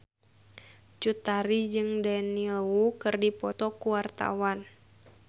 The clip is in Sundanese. Cut Tari jeung Daniel Wu keur dipoto ku wartawan